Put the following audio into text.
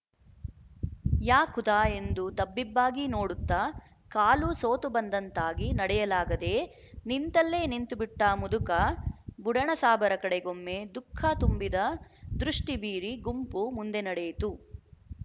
ಯಾ ಖುದಾ ಎಂದು ತಬ್ಬಿಬ್ಬಾಗಿ ನೋಡುತ್ತ ಕಾಲು ಸೋತುಬಂದಂತಾಗಿ ನಡೆಯಲಾಗದೇ ನಿಂತಲ್ಲೇ ನಿಂತುಬಿಟ್ಟ ಮುದುಕ ಬುಡಣಸಾಬರ ಕಡೆಗೊಮ್ಮೆ ದುಃಖ ತುಂಬಿದ ದೃಷ್ಟಿ ಬೀರಿ ಗುಂಪು ಮುಂದೆ ನಡೆಯಿತು